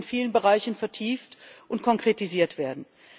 Sie muss aber in vielen Bereichen vertieft und konkretisiert werden.